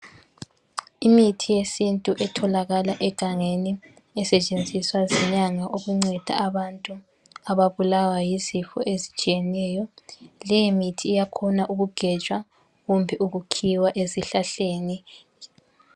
Imithi yesintu etholakala egangeni esetshenziswa zinyanga ukunceda abantu ababulawa yizifo ezitshiyeneyo, leyi mithi iyakhona ukugejwa kumbe ukukhiwa ezihlahleni.